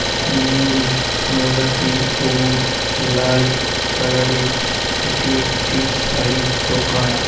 নীল গোলাপি সবুজ লাল কালার -এর এটি একটি শাড়ির দোকান ।